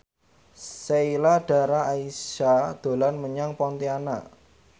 Sheila Dara Aisha dolan menyang Pontianak